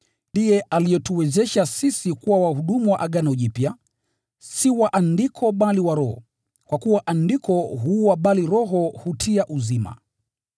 Ndiye alituwezesha sisi kuwa wahudumu wa Agano Jipya: si wa andiko, bali wa Roho; kwa kuwa andiko huua bali Roho hutia uzima.